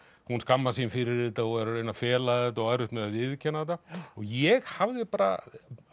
hún skammast sín fyrir þetta og er að reyna að fela þetta og á erfitt með að viðurkenna þetta ég hafði bara